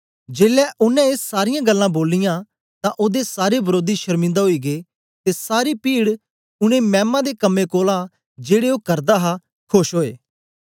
जेलै ओनें ए सारीयां गल्लां बोलियां तां ओदे सारे वरोधी शरमिन्दा ओई गै ते सारी पीड उनै मैमा दे कम्में कोलां जेड़े ओ करदा हां खोश ओए